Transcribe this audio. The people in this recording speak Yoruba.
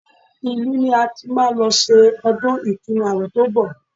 Ìlú ni a ti máa lọ ṣe ọdún ìtúnu àwẹ̀ tó ń bọ̀